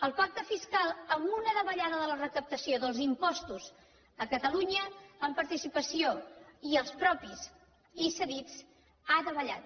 el pacte fiscal amb una davallada de la recaptació dels impostos a catalunya en participació i els propis i cedits ha davallat